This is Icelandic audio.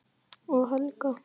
Og Helga.